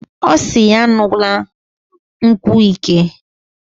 Osiri ya an̄una nkwu ike.